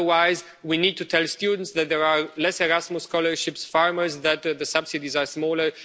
Otherwise, we need to tell students that there are fewer Erasmus scholarships, and farmers that the subsidies are smaller.